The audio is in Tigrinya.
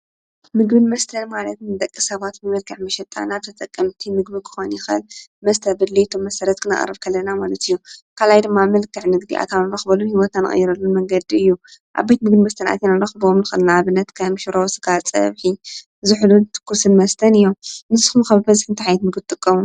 ምግብን መስተን ማለት ንደቂ ሰባት ብመልክዕ መሸጣ ናብ ተጠቀምቲ ምግቢ ክኮን ይክእል መስተ ብድሌቶም መሰረት ክነቅርብ ከለና ማለት እዩ። ካልኣይ ድማ ብመልክዕ ንግዲ ኣታዊ ክንረክበሉን ሂወትና እንቅይረሉን መንገዲ እዩ። ኣብ ቤትምግብን መስተ ኣቲና እንረክቦም ንኣብነት ከም ሽሮ፣ ስጋ፣ ፀብሒ ዝሑልን ትኩስን መስተን እዮም። ንስኹም ከ ብበዝሒ እንታይ ዓይነት እትጥቀሙ?